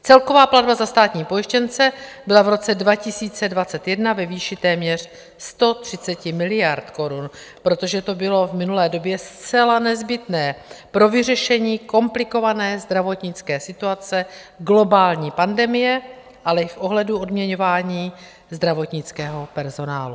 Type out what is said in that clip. Celková platba za státní pojištěnce byla v roce 2021 ve výši téměř 130 miliard korun, protože to bylo v minulé době zcela nezbytné pro vyřešení komplikované zdravotnické situace, globální pandemie, ale i v ohledu odměňování zdravotnického personálu.